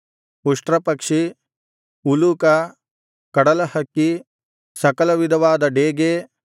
ಉಷ್ಟ್ರಪಕ್ಷಿ ಉಲೂಕ ಕಡಲಹಕ್ಕಿ ಸಕಲವಿಧವಾದ ಡೇಗೆ